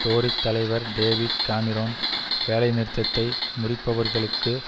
Tory தலைவர் David Cameron வேலைநிறுத்தத்தை முறிப்பவர்களுக்கு